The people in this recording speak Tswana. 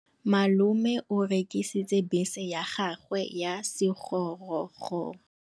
Malome o rekisitse bese ya gagwe ya sekgorokgoro.